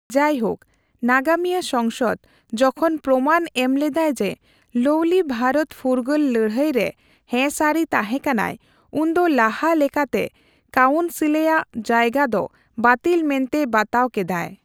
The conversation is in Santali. ᱡᱟᱭᱦᱳᱠ, ᱱᱟᱜᱟᱢᱤᱭᱟᱹ ᱥᱚᱝᱥᱚᱫ ᱡᱚᱠᱷᱚᱱ ᱯᱨᱚᱢᱟᱱ ᱮᱢ ᱞᱮᱫᱟᱭ ᱡᱮ ᱞᱚᱣᱞᱤ ᱵᱷᱟᱨᱚᱛ ᱯᱷᱩᱨᱜᱟᱹᱞ ᱞᱟᱹᱲᱦᱟᱹᱭ ᱨᱮ ᱦᱮ ᱥᱟᱨᱤ ᱛᱟᱦᱮ ᱠᱟᱱᱟᱭ, ᱩᱱᱫᱚ ᱞᱟᱦᱟ ᱞᱮᱠᱟᱜᱮ ᱠᱟᱣᱱᱥᱤᱞᱨᱮᱭᱟᱜ ᱡᱟᱭᱜᱟ ᱫᱚ ᱵᱟᱛᱤᱞ ᱢᱮᱱᱛᱮ ᱵᱟᱛᱟᱣ ᱠᱮᱫᱟᱭ ᱾